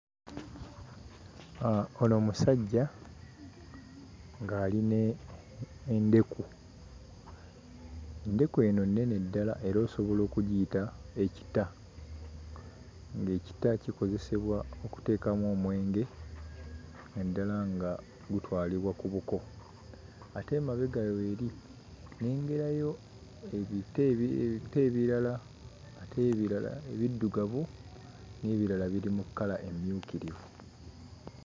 Ah, ono musajja ng'ali n'endeku; endeku eno nnene ddala era osobola okugiyita ekita ng'ekita kikozesebwa okuteekamu omwenge naddala nga gutwalibwa ku buko ate emabega we eri nnengerayo ebita ebi ebita ebirala ate ebirala ebiddugavu n'ebirala biri mu kkala emmyukirivu.